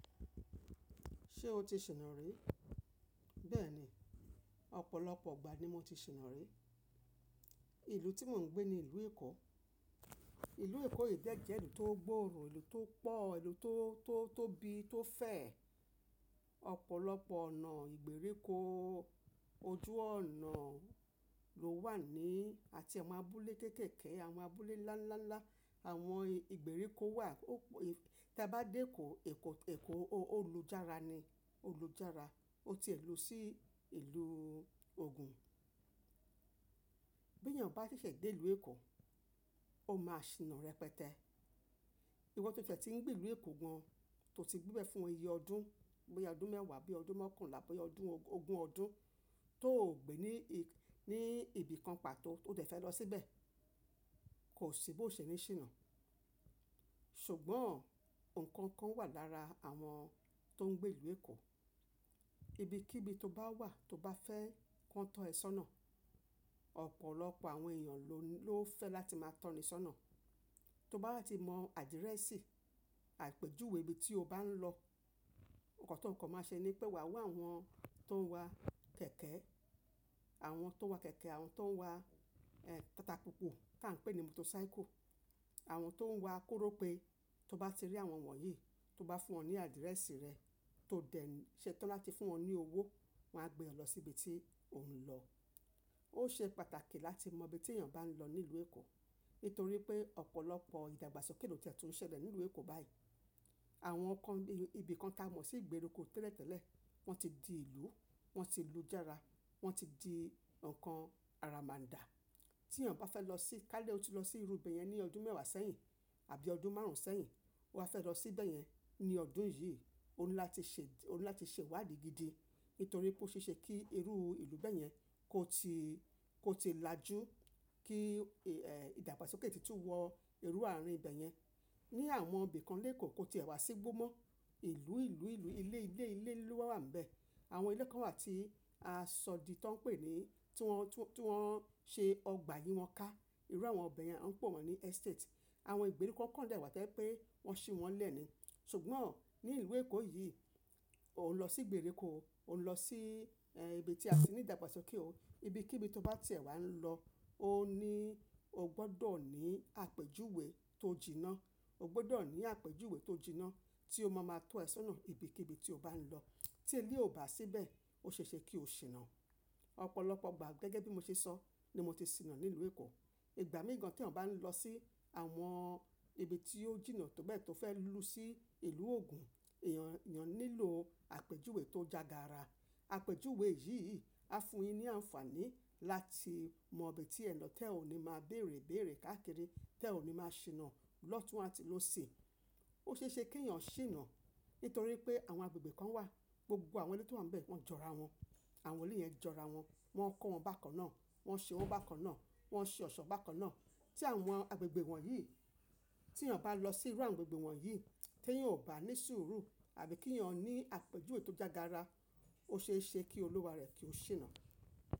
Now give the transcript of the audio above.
Ṣé o ti ṣìnà rí? Bẹ́ẹ̀ni, ọ̀pọ̀lọpọ̀ ìgbà ni mo ti ṣìnà rí. Ìlú tí mò ń gbé ni Ìlú Èkó. Ìlú Èkó yìí jẹ́ ìlú tó gbòòrò, ìlú tó pọ̀ o, ìlú tó, tó, tó bí, tó fẹ̀. Ọ̀pọ̀lọpọ̀ ọ̀nà ìgbèríko, ojú ọ̀nà ló wà ní, àti àwọn abúlé kéékèèké, àwọn abúlé ńlá, ńlá, ńlá. Àwọn ìgbèríko wà. Ó p- tí a bá dé Èkó, Èkó, Èkó ó lùjára ni, ó lùjára. Ó ti è lù sí ìlú ògùn. Bí èèyàn bá ṣẹ̀ṣẹ̀ dé ìlú Èkó, ó máa ṣìnà rẹpẹtẹ. Ìwọ tó tie ti n gbé ìlú Èkó gan, tó ti gbébẹ̀ fún iye ọdún, bóyá ọdún mẹ́wàá àbí ọdún mọ́kànlá bóyá ọdún ogún ọdún tó ò gbé ní ì- ní ibi kan pàtó tó dẹ̀ fẹ́ lọ síbẹ̀, kò ṣi bó ṣe ní ṣìnà. Ṣùgbọ́n ǹkan kan wà lára àwọn tó ń gbé ìlú Èkó, ibikíbi tó bá wà tó bá fẹ́ kàn tọ́ ẹ sọ́nà, ọ̀pọ̀lọpọ̀ àwọn èèyàn ló, ló fẹ́ láti máa tọ́ ni sọ́nà. Tó bá ti mọ àdìrẹ́sì, àpèjúwe ibi tí o bá ń lọ, ǹkan tó kàn máa ṣe ni pé wà wá àwọn tó ń wà kẹ̀kẹ́, àwọn tó ń wà kẹ̀kẹ́, àwọn tó ń wà, eh, tata pupo tí à ń pè ní motocycle, àwọn tó ń wà korope tó bá ti rí àwọn wọ̀nyí, tó bá fún wọn ní àdìrẹ́sì rẹ, tó dẹ̀ ṣẹ tọ́ láti fún wọn ní owó, wọ́n á gbé ẹ lọ síbi tí ò ń lọ. Ó ṣe pàtàkì láti mọ ibi tí èèyàn bá ń lọ nílùú Èkó, nítorí pé ọ̀pọ̀lọpọ̀ ìdàgbàsókè ló ti e tu n ṣẹlẹ̀ nílùú Èkó báyìí. Àwọn kan bi, ibi kan táa mọ̀ sí ìgbèríko tẹ́lẹ̀tẹ́lẹ̀, wọ́n ti di ìlú, wọ́n ti lùjára, wọ́n ti di ǹkan ara máa dà. Tí èèyàn bá fẹ́ lọ sí, kálẹ́ o ti lọ sí irú ibẹ̀ yẹn ní ọdún mẹ́wàá sẹ́yìn bí ọdún márùn-ún sẹ́yìn, o wà á fẹ́ lọ síbẹ̀ yẹn ní ọdún yìí, ó ńi látí ṣe, ó ni látí ṣe iwádi gidi nítorí pé ó ṣe é ṣe kí irú ìlú bẹ́ẹ̀ yẹn kó ti, kó ti lajú, kí, eh, ìdàgbàsókè ti tún wọ irú àárín ibẹ̀ yẹn. Ní àwọn ibi kan lé Èkó, kò ti è wá sí igbó mọ́. Ìlú, ìlú, ìlú, ilé, ilé, ilé, lowa wà ń bẹ. Àwọn ilé kan wà tí aṣọ di ti won ń pè é ni, tí wọ́n, tí wọ́n ṣe ọgbà yìí wọn ká. Irú àwọn ibẹ̀ yẹn a ń pè wọ́n ní estate. Àwọn ìgbèríko kan dà wà to je pé wọ́n ṣí wọn lẹ́ ni. Ṣùgbọ́n nílùú Èkó yìí, o n lọ sí ìgbèríko o, o ń lọ sí, eh, ibi tí a tì ní ìdàgbàsókè o. Ibikíbi tó bá ti è wá ń lọ, ò ní, o gbọdọ̀ ní àpèjúwe tó jìnnà. O gbọdọ̀ ní àpèjúwe tó jìnnà tí ó máa ma tọ́ ẹ sọ́nà ibikíbi tí o bá ń lọ. Tí ẹleyi ò bá síni bẹ̀, ó ṣe é ṣe kí o ṣìnà. Ọ̀pọ̀lọpọ̀ ìgbà gẹ́gẹ́ bí mo ṣe sọ ni mo ti ṣìnà nílùú Èkó. Ìgbà mìíran gan tí èèyàn bá ń lọ sí àwọn ibi tí ó jìnnà tó bẹ́ẹ̀ tó fẹ́ lù sí ìlú ògùn, èèyàn, èèyàn nílò àpèjúwe tó jagara. Àpèjúwe yìí á fún un yín ní àǹfààní láti mọ ibi tí ẹ lọ, tẹ́ o ní máa béèrè béèrè káàkiri, tẹ́ o ní máa ṣìnà lọ́tùn àti lóṣì. Ó ṣe é ṣe kí èèyàn ṣìnà nítorí pé àwọn agbègbè kan wà, gbogbo àwọn ilé tó wà ń bẹ, wọ́n jọra wọn. Àwọn ilé yẹn jọra wọn, wọ́n kó wọn bákan náà, wọ́n ṣe wọn bákan náà, wọ́n ṣe ọ̀ṣọ́ bákan náà. Tí àwọn agbègbè wọ̀nyí, tí èèyàn bá lọ sí irú àwọn agbègbè wọ̀nyí, tí èèyàn ò bá ní sùúrù àbí kí èèyàn ní àpèjúwe tó jagara, ó ṣe é ṣe kí olúwa rẹ̀ kí ó ṣìnà.